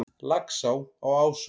Laxá á Ásum